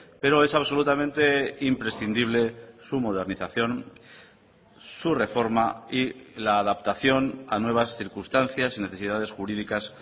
pero es absolutamente imprescindible su modernización su reforma y la adaptación a nuevas circunstancias y necesidades jurídicas